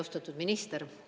Austatud minister!